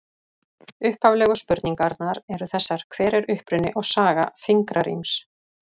Upphaflegu spurningarnar eru þessar: Hver er uppruni og saga fingraríms?